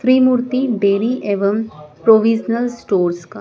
त्रिमूर्ति dairy एवं provisional stores का--